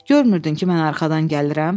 Görmürdün ki, mən arxadan gəlirəm?